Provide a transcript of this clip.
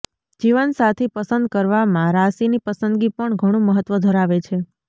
જીવનસાથી પસંદ કરવામાં રાશીની પસંદગી પણ ઘણું મહત્વ ધરાવે છે